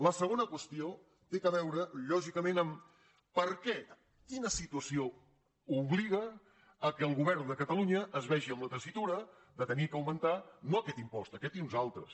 la segona qüestió té a veure lògicament amb per què quina situació obliga que el govern de catalunya es vegi en la tessitura d’haver d’augmentar no aquest impost aquest i uns altres